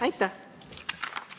Aitäh!